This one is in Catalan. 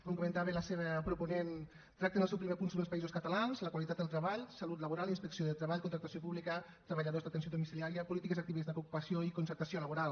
com comentava la seva proponent tracta en el seu primer punt sobre els països catalans la qualitat del treball salut laboral i inspecció de treball contractació pública treballadors d’atenció domiciliària polítiques actives d’ocupació i concertació laboral